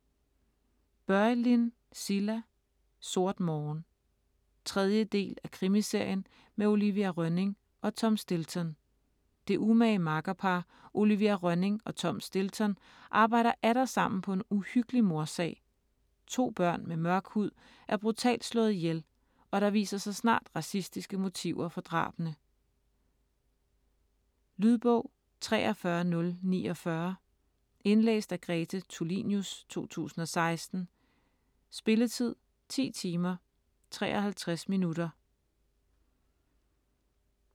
Börjlind, Cilla: Sort morgen 3. del af krimiserien med Olivia Rönning og Tom Stilton. Det umage makkerpar, Olivia Rönning og Tom Stilton, arbejder atter sammen på en uhyggelig mordsag. To børn med mørk hud er brutalt slået ihjel, og der viser sig snart racistiske motiver for drabene. Lydbog 43049 Indlæst af Grete Tulinius, 2016. Spilletid: 10 timer, 53 minutter.